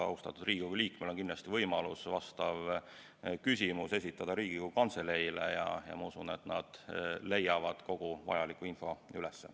Austatud Riigikogu liikmel on kindlasti võimalus vastav küsimus esitada Riigikogu Kantseleile ja ma usun, et nad leiavad kogu vajaliku info üles.